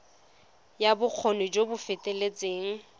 ya bokgoni jo bo feteletseng